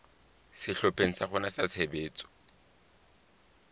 sehlopheng sa rona sa tshebetso